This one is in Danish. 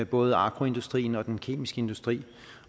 både agroindustrien og den kemiske industri